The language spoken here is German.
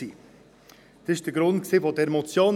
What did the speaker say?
Dies war der Grund für diese Motion.